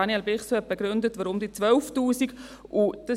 Daniel Bichsel hat begründet, weshalb es 12 000 Franken sind.